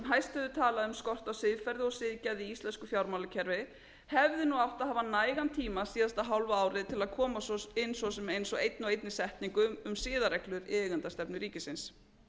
á siðferði og siðgæði í íslensku fjármálakerfi hefði átt að hafa nægan tíma síðasta hálfa árið til að koma inn svo sem einni og einni setningu um siðareglur í eigendastefnu ríkisins